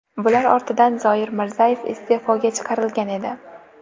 Bular ortidan Zoir Mirzayev iste’foga chiqarilgan edi.